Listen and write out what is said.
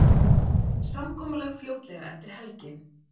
Samkomulag fljótlega eftir helgi